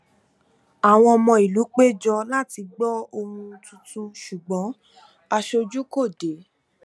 àwọn ọmọ ìlú péjọ láti gbọ ohun tuntun ṣùgbọn aṣojú kò dé